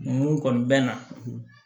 Mun kɔni bɛ na